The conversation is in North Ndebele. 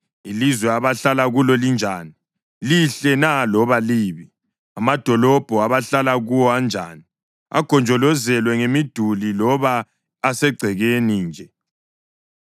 Ilizwe abahlala kulo linjani? Lihle na loba libi? Amadolobho abahlala kuwo anjani? Agonjolozelwe ngemiduli loba asegcekeni nje?